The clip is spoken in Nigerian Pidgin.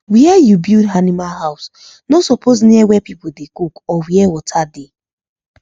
where you build animal house no suppose near where person dey cook or where water dey